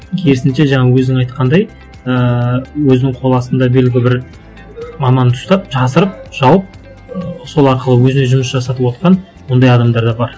керісінше жаңа өзің айтқандай ыыы өзінің қол астында белгілі бір маманды ұстап жасырып жауып ыыы сол арқылы өзіне жұмыс жасатып отырған ондай адамдар да бар